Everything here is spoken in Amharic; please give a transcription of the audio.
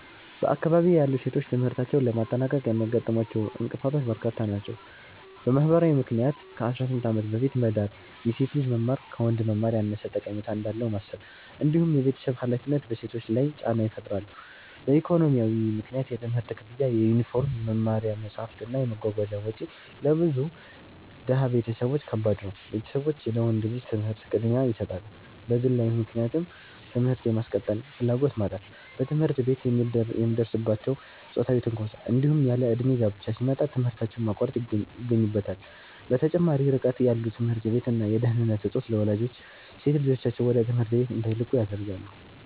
በአካባቢዬ ያሉ ሴቶች ትምህርታቸውን ለማጠናቀቅ የሚያጋጥሟቸው እንቅፋቶች በርካታ ናቸው። በማህበራዊ ምክንያት ከ18 ዓመት በፊት መዳር፣ የሴት ልጅ መማር ከወንድ መማር ያነሰ ጠቀሜታ እንዳለው ማሰብ፣ እንዲሁም የቤተሰብ ሃላፊነት በሴቶች ላይ ጫና ይፈጥራሉ። በኢኮኖሚያዊ ምክንያት የትምህርት ክፍያ፣ የዩኒፎርም፣ የመማሪያ መጽሐፍት እና የመጓጓዣ ወጪ ለብዙ ድሃ ቤተሰቦች ከባድ ነው፤ ቤተሰቦች ለወንድ ልጅ ትምህርት ቅድሚያ ይሰጣሉ። በግለዊ ምክንያት ትምህርት የማስቀጠል ፍላጎት ማጣት፣ በትምህርት ቤት የሚደርስባቸው ጾታዊ ትንኮሳ፣ እንዲሁም ያለእድሜ ጋብቻ ሲመጣ ትምህርታቸውን ማቋረጥ ይገኙበታል። በተጨማሪም ርቀት ያለው ትምህርት ቤት እና የደህንነት እጦት ለወላጆች ሴት ልጆቻቸውን ወደ ትምህርት ቤት እንዳይልኩ ያደርጋል።